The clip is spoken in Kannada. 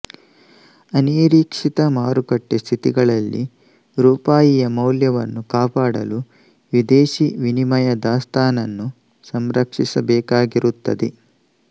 ಅನಿರೀಕ್ಷಿತ ಮಾರುಕಟ್ಟೆ ಸ್ಥಿತಿಗಳಲ್ಲಿ ರೂಪಾಯಿಯ ಮೌಲ್ಯವನ್ನು ಕಾಪಾಡಲು ವಿದೇಶಿ ವಿನಿಮಯ ದಾಸ್ತಾನನ್ನು ಸಂರಕ್ಷಿಸಬೇಕಾಗಿರುತ್ತದೆ